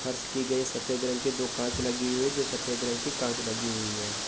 फर्श की गयी सफ़ेद रंग के दो कांच लगे हुई जो सफ़ेद रंग की कांच लगी हुई है।